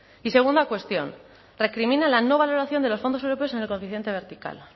y segunda cuestión recrimina la no valoración de los fondos europeos en el coeficiente vertical